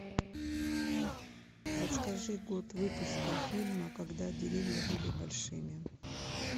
подскажи год выпуска фильма когда деревья были большими